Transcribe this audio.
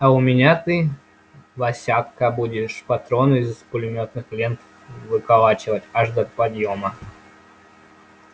а у меня ты васятка будешь патроны из пулемётных лент выколачивать аж до подъёма